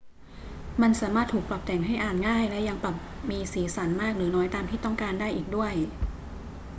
มันสามารถถูกปรับแต่งให้อ่านง่ายและยังปรับมีสีสันมากหรือน้อยตามที่ต้องการได้อีกด้วย